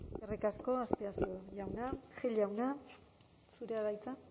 eskerrik asko azpiazu jauna gil jauna zurea da hitza